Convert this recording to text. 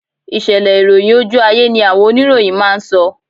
Ìṣẹ̀lẹ̀ ìròyìn ojú ayé ni àwọn oníròyìn máa ń sọ